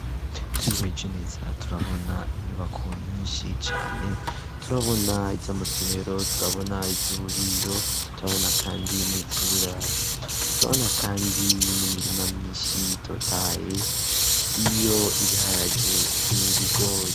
Twihweje neza turabona inyubako nyinshi cane ,turabona iz'amasomero ,turabona iz'uburiro ,turabona kandi n'iz'uburaro, turabona kandi n'imirima myinshi itotahaye iyo ibiharage n'ibigore.